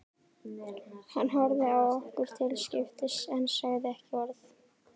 Hann horfði á okkur til skiptis en sagði ekki orð.